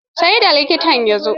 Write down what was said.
Ce ne da likitan ya zo.